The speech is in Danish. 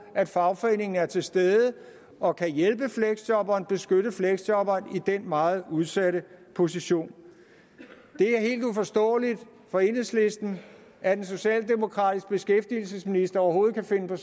at fagforeningen er til stede og kan hjælpe og beskytte fleksjobberen i den meget udsatte position det er helt uforståeligt for enhedslisten at en socialdemokratisk beskæftigelsesminister overhovedet kan finde på